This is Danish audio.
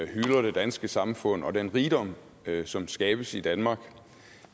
hylder det danske samfund og den rigdom som skabes i danmark